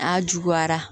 A juguyara